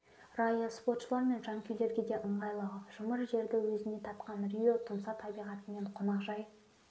райы спортшылар мен жанкүйерлерге де ыңғайлы жұмыр жерді өзіне тартқан рио тұмса табиғаты мен қонақжай